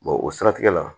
o siratigɛ la